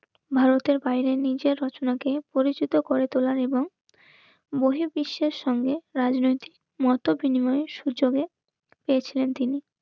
ভারতের বাইরে নিজের রচনাকে পরিচিত করে তোলার এবং বহিঃবিশ্বাসের সঙ্গে রাজনৈতিক মতবিনিময়ের সুযোগে পেয়েছিলেন তিনি